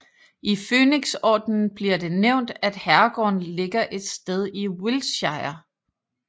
I Fønixordenen bliver det nævnt at herregården ligger et sted i Wiltshire